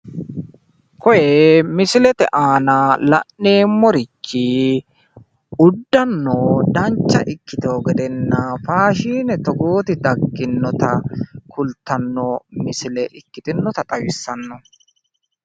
Koye misilete aana la'neemmorichi uddano danchcha ikkitino gedenna, faashine togooti dagginnota kulttanno misile ikkitinota xawissanno.